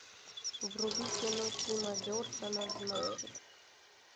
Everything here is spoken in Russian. вруби кино тима бертона значит